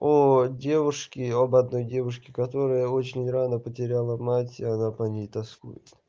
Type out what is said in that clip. о девушке об одной девушке которая очень рано потеряла мать она по ней тоскует